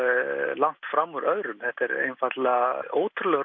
langt fram úr öðrum þetta er er einfaldlega ótrúlegur